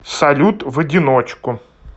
салют в одиночку